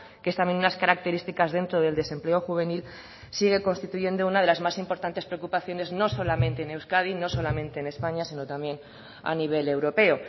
que es también unas características dentro del desempleo juvenil sigue constituyendo una de las más importantes preocupaciones no solamente en euskadi no solamente en españa sino también a nivel europeo